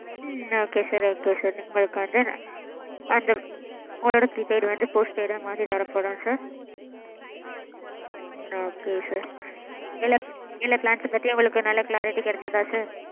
ம்ம் okay sir okay sir. உங்களுக்கு வந்து. அந்த உங்களோட prepaid வந்து postpaid டா மாற்றி தர படும் sir. okay sir எல்லா எல்லா plans பதியும் உங்களுக்கு நல்லா clarity கெடைச்சதா sir?